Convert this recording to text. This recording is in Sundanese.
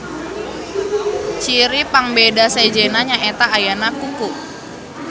Ciri pangbeda sejenna nyaeta ayana kuku.